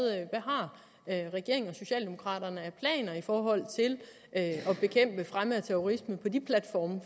har regeringen og socialdemokraterne af planer i forhold til at bekæmpe fremme af terrorisme på de platforme